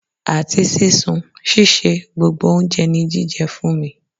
Àti sísun, ṣíṣe, gbogbo oúnjẹ ní jíjẹ fún mi.